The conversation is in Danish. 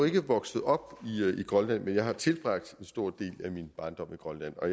ikke vokset op i grønland men jeg har tilbragt en stor del af min barndom i grønland og